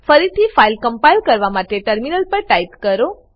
ફરીથી file compile કરવા માટે ટર્મિનલ પર ટાઈપ કરો